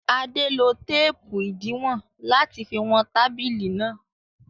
Adé lo téépù ìdiwọn láti fi wọn tábìlì náà.